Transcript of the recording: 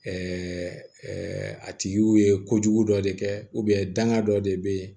a tigiw ye kojugu dɔ de kɛ danga dɔ de bɛ yen